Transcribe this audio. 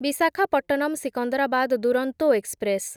Visakhapatnam Secunderabad Duronto express